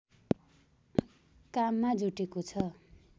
काममा जुटेको छु